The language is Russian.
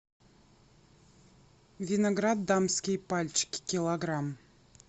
виноград дамские пальчики килограмм